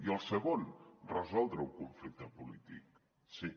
i el segon resoldre un conflicte polític sí